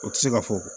O tɛ se ka fɔ